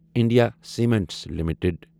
India cements limited